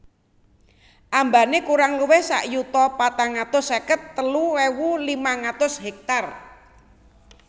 Ambane kurang luwih sak yuta patang atus seket telu ewu limang atus hektar